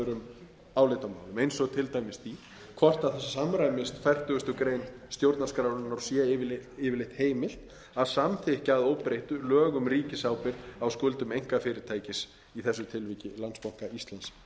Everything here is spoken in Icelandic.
öðrum álitamálum eins og til dæmis því hvort það samræmist fertugasti stjórnarskrárinnar og sé yfirleitt heimilt að samþykkja að óbreyttu lög um ríkisábyrgð á skuldum einkafyrirtækis í þessu tilviki landsbanka íslands